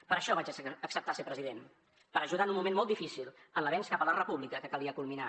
per això vaig acceptar ser president per ajudar en un moment molt difícil en l’avenç cap a la república que calia culminar